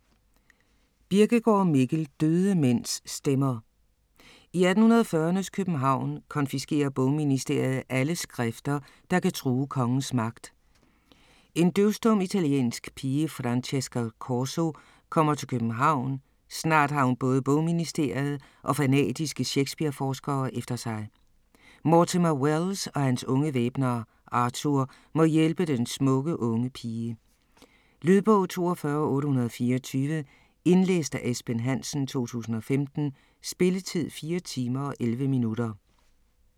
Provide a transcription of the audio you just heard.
Birkegaard, Mikkel: Døde mænds stemmer I 1840'ernes København konfiskerer bogministeriet alle skrifter, der kan true kongens magt. En døvstum, italiensk pige, Francesca Corso, kommer til København, snart har hun både bogministeriet og fanatiske Shakespeare-forskere efter sig. Mortimer Welles og hans unge væbner, Arthur, må hjælpe den smukke unge pige. Lydbog 42824 Indlæst af Esben Hansen, 2015. Spilletid: 4 timer, 11 minutter.